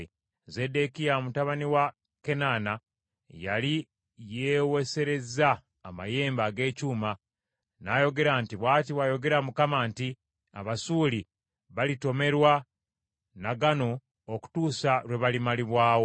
Zeddekiya mutabani wa Kenaana yali yeeweesereza amayembe ag’ekyuma, n’ayogera nti, “Bw’ati bw’ayogera Mukama nti, ‘Abasuuli balitomerwa na gano okutuusa lwe balimalibwawo.’ ”